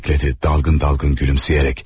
deyə əlavə etdi dalğın-dalğın gülümsəyərək.